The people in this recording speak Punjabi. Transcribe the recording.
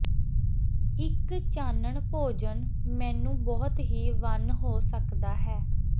ਇੱਕ ਚਾਨਣ ਭੋਜਨ ਮੇਨੂ ਬਹੁਤ ਹੀ ਵੰਨ ਹੋ ਸਕਦਾ ਹੈ